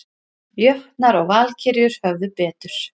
Jötnar og Valkyrjur höfðu betur